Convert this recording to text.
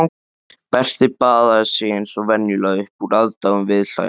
Berti baðaði sig eins og venjulega upp úr aðdáun viðhlæjenda.